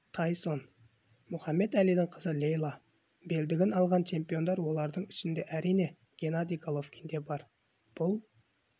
тайсон мұхаммед әлидің қызы лейла белдігін алған чемпиондар олардың ішінде әрине геннадий головкин бар бұл